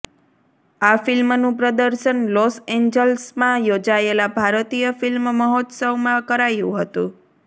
આ ફિલ્મનું પ્રદર્શન લોસ એન્જલસમાં યોજાયેલા ભારતીય ફિલ્મ મહોત્સવમાં કરાયુ હતું